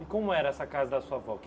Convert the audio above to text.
E como era essa casa da sua avó que?